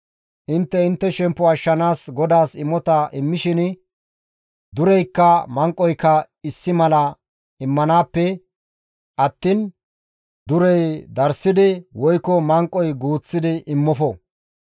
Intte intte shemppo ashshanaas GODAAS imota immishin, dureykka manqoyka issi mala immanaappe attiin, durey darssidi woykko manqoy guuththidi immofo.